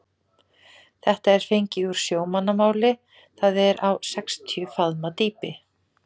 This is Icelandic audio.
Þetta er fengið úr sjómannamáli, það er á sextíu faðma dýpi.